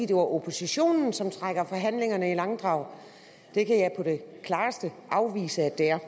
det er oppositionen som trækker forhandlingerne i langdrag det kan jeg på det klareste afvise at det er